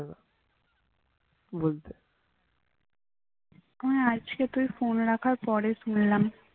হ্যাঁ আজকে তুই ফোন রাখার পর শুনলাম।